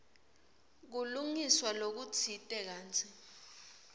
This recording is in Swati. kulungiswa lokutsite kantsi